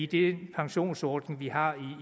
de pensionsordninger vi har